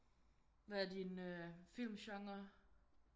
Hvad er din øh film genre?